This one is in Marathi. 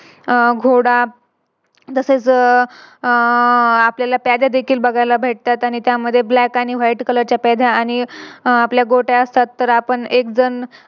अह घोडा तसेच आह आपल्यला प्यादे देखील बघायला भेटतात आणि त्यामध्ये Black आणि White color च्या प्यादा आणि अह आपल्या गोट्या असतात तर आपण एक जण